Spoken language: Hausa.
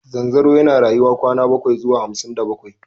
Zanzaro yana rayuwa kwana bakwai zuwa hamsin da bakwai.